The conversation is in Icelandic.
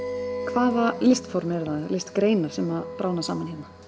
hvaða listform eða listgreinar sem bráðna saman hérna